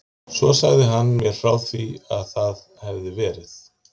Svo sagði hann mér frá því að það hefði verið